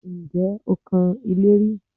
Ǹjẹ́ o kan ilé rí?